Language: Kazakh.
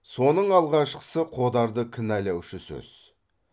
соның алғашқысы қодарды кінәлаушы сөз